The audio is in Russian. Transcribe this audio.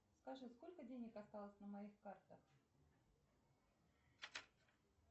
скажи сколько денег осталось на моих картах